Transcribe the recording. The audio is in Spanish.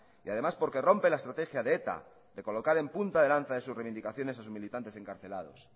y además porque rompe la estrategia de eta de colocar en punta de lanza de sus reivindicaciones a sus militantes encarcelados